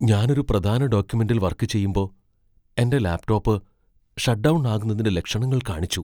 ഞാൻ ഒരു പ്രധാന ഡോക്യുമെന്റിൽ വർക്ക് ചെയ്യുമ്പോ, എന്റെ ലാപ്ടോപ് ഷട്ട് ഡൗൺ ആകുന്നതിന്റെ ലക്ഷണങ്ങൾ കാണിച്ചു.